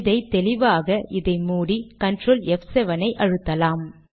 இதை தெளிவாக்க இதை மூடி கன்ட்ரோல் ப்7 செய்யலாம்